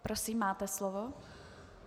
Prosím, máte slovo.